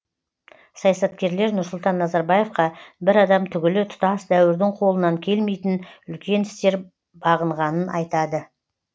саясаткерлер нұрсұлтан назарбаевқа бір адам түгілі тұтас дәуірдің қолынан келмейтін үлкен істер бағынғанын айтады